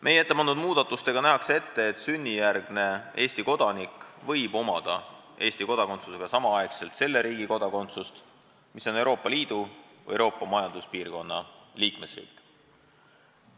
Meie ettepandud muudatustega nähakse ette, et sünnijärgne Eesti kodanik võib omada Eesti kodakondsusega samaaegselt ka Euroopa Liidu või Euroopa Majanduspiirkonna riigi kodakondsust.